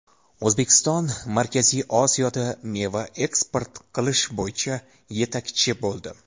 O‘zbekiston Markaziy Osiyoda meva eksport qilish bo‘yicha yetakchi bo‘ldi.